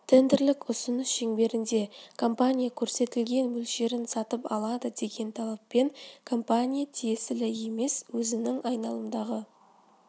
тендерлік ұсыныс шеңберінде компания көрсетілген мөлшерін сатып алады деген талаппен компания тиесілі емес өзінің айналымдағы